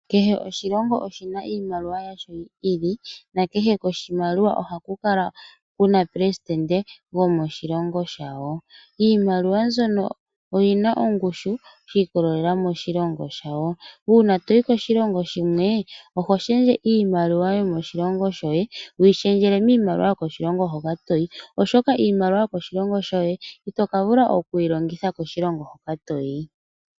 Kehe oshilongo oshi na iimaliwa yasho yi ili nakehe koshimaliwa ohaku kala ku na omupelesidente gomoshilongo shawo. Iimaliwa mbyono oyi na ongushu shi ikolelela koshilongo shawo. Uuna to yi koshilongo shimwe oho shendje iimaliwa yomoshilongo shoye wu yi shendjele miimaliwa yomoshilongo hoka to yi, oshoka iimaliwa yomoshilongo shoye ito ka vula oku yi longitha moshilongo moka to yi.